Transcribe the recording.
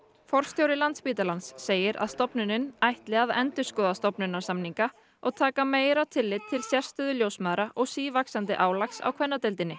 forstjóri Landspítalans segir að stofnunin ætli að endurskoða stofnanasamninga og taka meira tillit til sérstöðu ljósmæðra og sívaxandi álags á kvennadeildinni